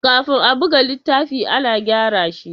Kafin a buga littafi, ana gyara shi.